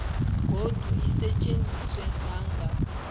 godu isetjenziswe nanga